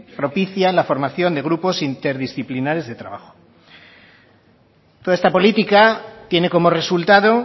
propicia la formación de grupos interindisciplinares de trabajo toda esta política tiene como resultado